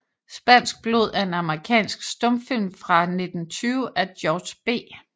Spansk Blod er en amerikansk stumfilm fra 1920 af George B